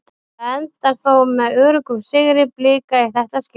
Þetta endar þó með öruggum sigri Blika í þetta skiptið.